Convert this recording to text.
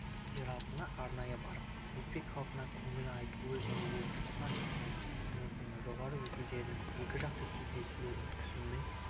зиратына арнайы барып өзбек халқына көңіл айтуы және өзбекстан үкіметінің жоғары өкілдерімен екіжақты кездесулер өткізуі